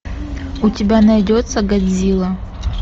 у тебя найдется годзилла